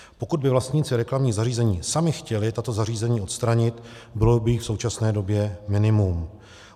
Pokud by vlastníci reklamních zařízení sami chtěli tato zařízení odstranit, bylo by jich v současné době minimum.